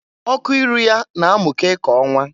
Ọkụ iru ya na amụke ka ọnwa.